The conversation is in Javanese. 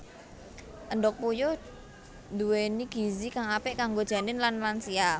Endhog puyuh nduwéni gizi kang apik kanggo janin lan lansia